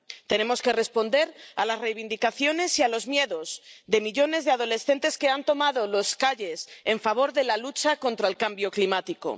Tenemos que responder a las reivindicaciones y a los miedos de millones de adolescentes que han tomado las calles en favor de la lucha contra el cambio climático.